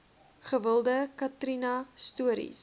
gewilde katrina stories